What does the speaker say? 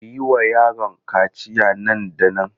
Ku yi wa yaron kaciya nan da nan!